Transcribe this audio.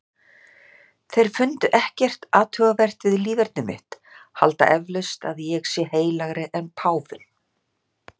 Þeir fundu ekkert athugavert við líferni mitt, halda eflaust að ég sé heilagri en páfinn